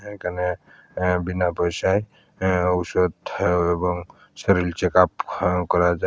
এখানে এ বিনা পয়সায় অ্যা-ঔষধ এবং শরীল চেকআপ হা-করা যায়।